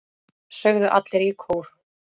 sögðu allir í kór.